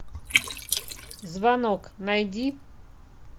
звонок найди